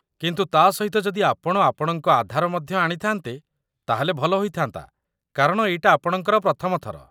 କିନ୍ତୁ ତା' ସହିତ ଯଦି ଆପଣ ଆପଣଙ୍କ ଆଧାର ମଧ୍ୟ ଆଣିଥାନ୍ତେ, ତା'ହେଲେ ଭଲ ହୋଇଥାନ୍ତା କାରଣ ଏଇଟା ଆପଣଙ୍କର ପ୍ରଥମ ଥର